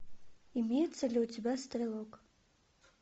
имеется ли у тебя стрелок